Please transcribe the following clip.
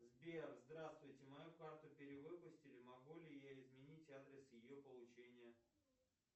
сбер здравствуйте мою карту перевыпустили могу ли я изменить адрес ее получения